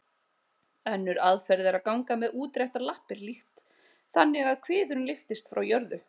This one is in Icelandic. Önnur aðferð er að ganga með útréttar lappir líkt þannig að kviðurinn lyftist frá jörðu.